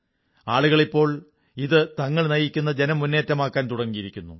ആളുകൾ ഇപ്പോൾ ഇത് തങ്ങൾ നയിക്കുന്ന ജനമുന്നേറ്റമാക്കാൻ തുടങ്ങിയിരിക്കുന്നു